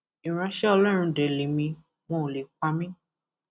ìránṣẹ ọlọrun dé lèmi wọn ò lè pa mí